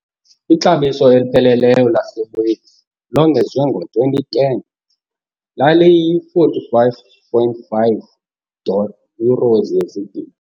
Ixabiso elipheleleyo laseWales longezwe ngo-2010 laliyi-45.5 dollar Euros yezigidi.